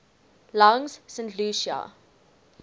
langs st lucia